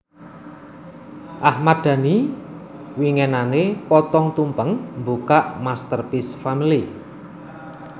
Ahmad Dhani winginane potong tumpeng mbukak Masterpiece Family